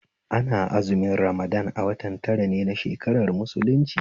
Ana azumin Ramadan a watan tara ne na shakarar musulunci